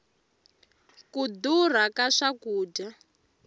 ku durha ka swakudya